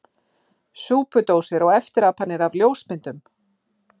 Súpudósir og eftirapanir af ljósmyndum!